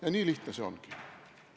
Ja nii lihtne see ongi.